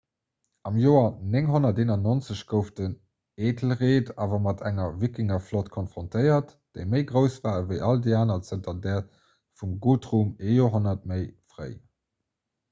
am joer 991 gouf den æthelred awer mat enger wikingerflott konfrontéiert déi méi grouss war ewéi all déi aner zanter där vum guthrum ee joerhonnert méi fréi